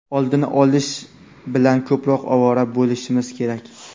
oldini olish bilan ko‘proq ovora bo‘lishimiz kerak.